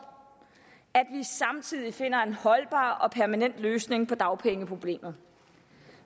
at finder en holdbar og permanent løsning på dagpengeproblemet